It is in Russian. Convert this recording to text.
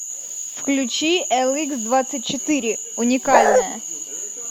включи эликсдвадцатьчетыре уникальная